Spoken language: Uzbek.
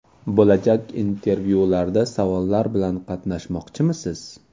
Bo‘lajak intervyularda savollar bilan qatnashmoqchisiz?